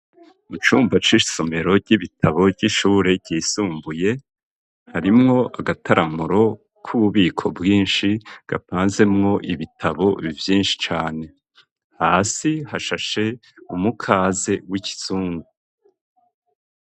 Mu cumba c'isomero ry'ibitabo ry'ishure ryisumbuye harimwo agataramuro k'ububiko bwinshi gapanzemwo ibitabo vyinshi cane hasi hashashe umukaze w'ikizungu.